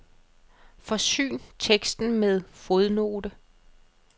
Forsyn teksten med fodnote.